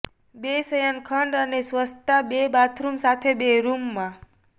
બે શયનખંડ અને સ્વચ્છતા બે બાથરૂમ સાથે બે રૂમમાં